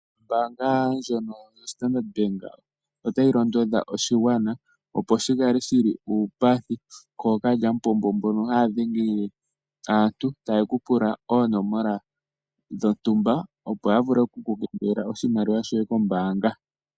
Ombaanga yoStandard Bank otayi londodha oshingwana opo shi kale shili uupathi kookalyampombo mbono haya dhenge le aantu taya pula oonomola dhontumba opo ya vulu oku kutha ko iimaliwa yaantu koombaanga.